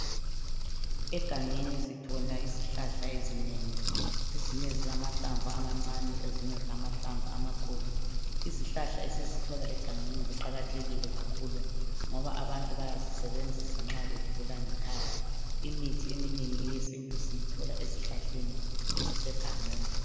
Egangeni sithola izihlahla ezinengi ezinye zilamhlamvu amancane ezinye zilamahlamvu amakhulu. Izihlahla esizithola egangeni ziqakathekile kakhulu ngoba abantu bayazisebenzisa nxa begula ngekhaya. Imithi eminengi eyesintu siyithola ezihlahleni ezisegangeni.